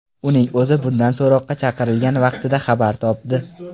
Uning o‘zi bundan so‘roqqa chaqirilgan vaqtida xabar topdi.